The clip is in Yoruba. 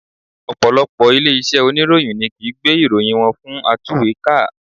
Ọ̀pọ̀lọpọ̀ ilé iṣẹ́ oníròyìn ni kìí gbé ìròyìn wọn fún atúwèékà